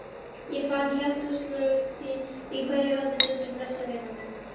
Ég fann hjartaslög þín í hverju orði, blessuð vina mín.